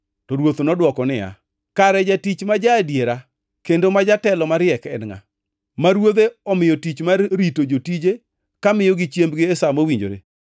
To Ruoth nodwoko niya, “Kare jatich ma ja-adiera kendo ma jatelo mariek en ngʼa, ma ruodhe omiyo tich mar rito jotije ka miyogi chiembgi e sa mowinjore?